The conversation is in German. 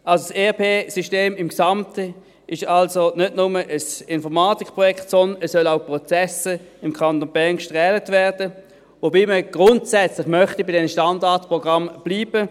Das ERP-System im Gesamten ist also nicht nur ein Informatikprojekt, sondern es sollen auch Prozesse im Kanton Bern durchgekämmt werden, wobei man grundsätzlich bei diesen Standardprogrammen bleiben möchte.